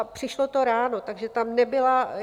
A přišlo to ráno, takže tam nebyla...